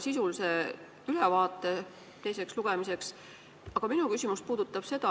Te tegite teisel lugemisel põhjaliku ja sisulise ülevaate.